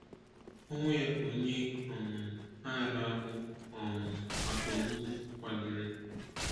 Ọnwụ ya ka onye um agha na-ahụ um maka ogbugbu kwadoro.